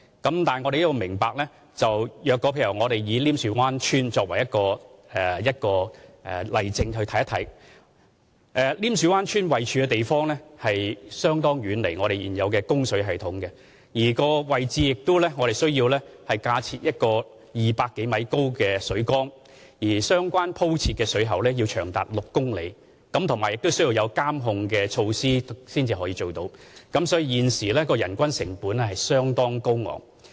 但大家要明白，以稔樹灣村為例，稔樹灣村的位置相當遠離現有的供水系統，如要在該位置建造自來水供應系統，我們需要架設一個200多米高的水缸，鋪設的水管也長達6公里，並且需要配以監控措施，所以，現時人均成本相當高昂。